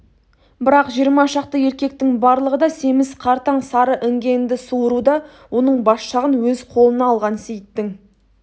бірақ жиырма шақты еркектің барлығы да семіз қартаң сары іңгенді суыруда оның бас жағын өз қолына алған сейіттің